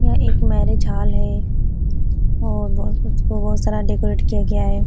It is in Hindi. यह एक मैरिज हॉल है और बहोत कुछ बहोत सारा डेकोरेट किया गया है।